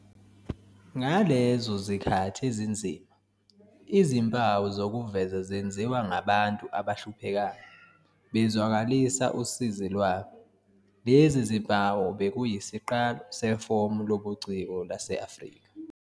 Ngalezo zikhathi ezinzima izimpawu zokuveza zenziwa ngabantu abahluphekayo bezwakalisa usizi lwabo. Lezi zimpawu bekuyisiqalo sefomu lobuciko lase-Afrika.